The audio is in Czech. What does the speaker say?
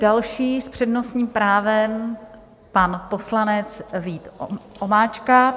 Další s přednostním právem pan poslanec Vít Omáčka .